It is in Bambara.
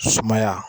Sumaya